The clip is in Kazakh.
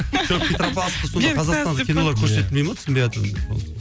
петропавловск сонда қазақстандық кинолар көрсетілмей ме түсінбейатырмын мен соны